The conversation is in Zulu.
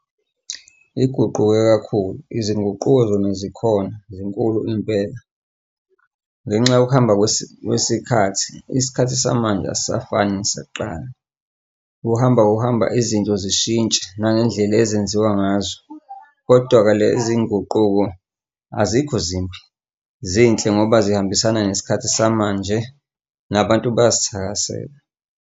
Iguquke kakhulu izinguquko zona zikhona zinkulu impela. Ngenxa yokuhamba kwesikhathi isikhathi samanje asisafani nasakqala. Kuhamba kuhamba izinto zishintshe nangendlela ezenziwa ngazo kodwa-ke lezi iy'nguquko azikho zimbi zinhle ngoba zihambisana nesikhathi samanje, nabantu bayazithakasela.